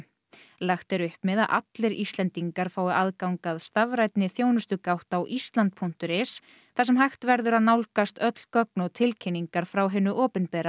lagt er upp með að allir Íslendingar fái aðgang að stafrænni þjónustugátt á Ísland punktur is þar sem hægt verður að nálgast öll gögn og tilkynningar frá hinu opinbera